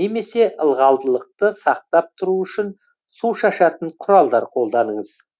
немесе ылғалдылықты сақтап тұру үшін су шашатын құралдар қолданыңыз